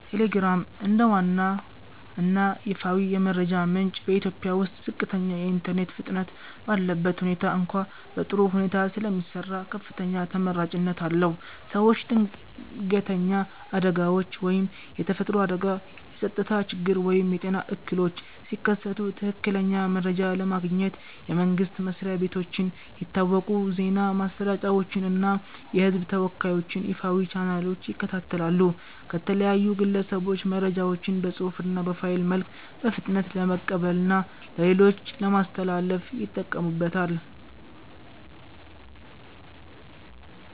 ቴሌግራም፦ እንደ ዋና እና ይፋዊ የመረጃ ምንጭ በኢትዮጵያ ውስጥ ዝቅተኛ የኢንተርኔት ፍጥነት ባለበት ሁኔታ እንኳ በጥሩ ሁኔታ ስለሚሰራ ከፍተኛ ተመራጭነት አለው። ሰዎች ድንገተኛ አደጋዎች (የተፈጥሮ አደጋ፣ የጸጥታ ችግር ወይም የጤና እክሎች) ሲከሰቱ ትክክለኛ መረጃ ለማግኘት የመንግስት መስሪያ ቤቶችን፣ የታወቁ የዜና ማሰራጫዎችን እና የህዝብ ተወካዮችን ይፋዊ ቻናሎች ይከታተላሉ። ከተለያዩ ግለሰቦች መረጃዎችን በፅሁፍ እና በፋይል መልክ በፍጥነት ለመቀበልና ለሌሎች ለማስተላለፍ ይጠቀሙበታል።